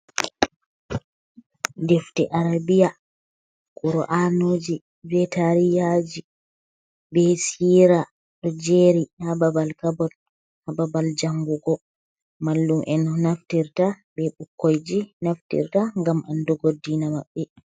Defte arabiya Kur'anuji be tarihaji be sira ɗo jeri ha babal kabot ha babal jangugo. Mallum'en naftirta be ɓukkoiji naftirta ngam andugo deena maɓɓe.